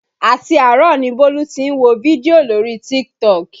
Àti àárọ̀ ni Bólú tí ń wo fídíò lórí TikTok